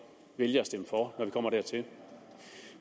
vælge at stemme for når vi kommer dertil